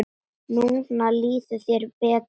Núna líður þér betur.